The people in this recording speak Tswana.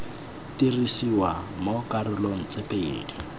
dirisiwa mo dikarolong tse pedi